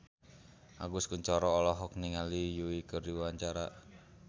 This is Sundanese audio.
Agus Kuncoro olohok ningali Yui keur diwawancara